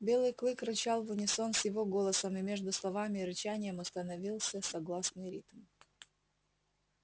белый клык рычал в унисон с его голосом и между словами и рычанием установился согласный ритм